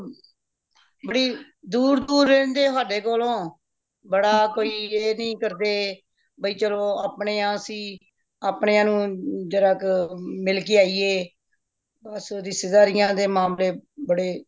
ਬੜੇ ਦੂਰ ਦੂਰ ਰਹਿੰਦੇ ਹੋ ਸਾਡੇ ਕੋਲੋਂ ਬੜਾ ਕੋਈ ਇਹ ਨਹੀਂ ਕਰਦੇ ਬਇ ਚਲੋ ਅਪਣੇਆਂ ਅੱਸੀ ਆਪਣੇਆ ਨੂੰ ਜਰਾ ਕਰਕੇ ਮਿਲ ਕੇ ਆਈਯੇ ਬੱਸ ਰਿਸ਼ਤੇਦਾਰੀਆਂ ਦੇ ਮਾਮਲੇ ਬੜੇ